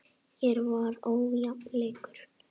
Hér var ójafn leikur.